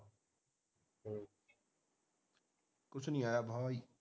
ਕੁਛ ਨਹੀਂ ਆਇਆ ਬਾਈ